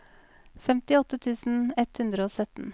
femtiåtte tusen ett hundre og sytten